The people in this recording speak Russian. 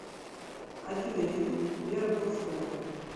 афина ютуб вера полозкова